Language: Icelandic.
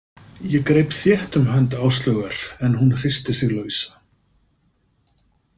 Ég greip þétt um hönd Áslaugar en hún hristi sig lausa.